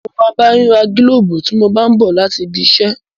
Mo máa bá ẹ ra gílóbù tí mo bá n bọ̀ láti ibi iṣẹ́